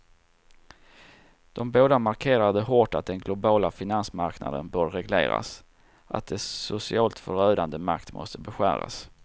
De båda markerade hårt att den globala finansmarknaden bör regleras, att dess socialt förödande makt måste beskäras.